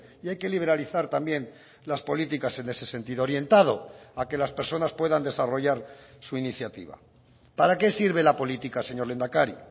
y hay que liberalizar también las políticas en ese sentido orientado a que las personas puedan desarrollar su iniciativa para qué sirve la política señor lehendakari